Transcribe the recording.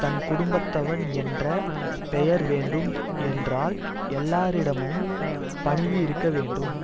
நற்குடும்பத்தவன் என்ற பெயர் வேண்டும் என்றால் எல்லாரிடமும் பணிவு இருக்க வேண்டும்